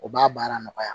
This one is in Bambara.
O b'a baara nɔgɔya